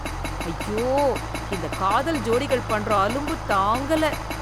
ஐயோ, இந்த காதல் ஜோடிகள் பண்ற அலும்பு தாங்கல.